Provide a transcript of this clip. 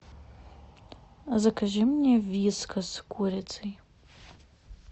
закажи мне вискас с курицей